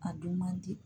A dun man di